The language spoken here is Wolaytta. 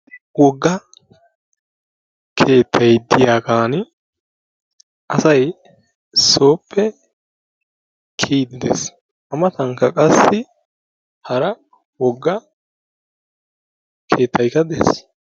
Wogga keettay diyagan asay sooppe kiyiidi de'ees. A matankka qassi hara wogga keettaykka de'ees.